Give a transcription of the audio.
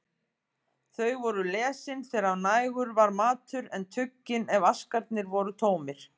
Þau voru lesin þegar nægur var matur, en tuggin ef askarnir voru tómir.